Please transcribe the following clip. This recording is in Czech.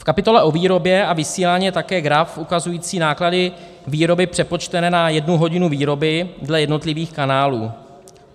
V kapitole o výrobě a vysílání je také graf ukazující náklady výroby přepočtené na jednu hodinu výroby dle jednotlivých kanálů.